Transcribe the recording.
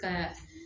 Ka